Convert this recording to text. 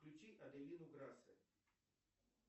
включи аделину грассе